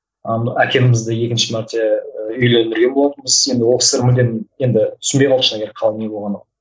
әкемізді екінші мәрте ііі үйлендірген болатынбыз енді ол кісілер мүлдем енді түсінбей қалды шыны керек қалай не болғанын